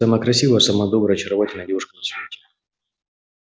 вы самая красивая самая добрая очаровательная девушка на свете